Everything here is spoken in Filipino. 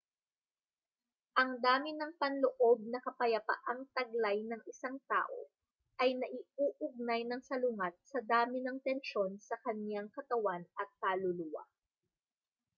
ang dami ng panloob na kapayapaang taglay ng isang tao ay naiuugnay nang salungat sa dami ng tensyon sa kaniyang katawan at kaluluwa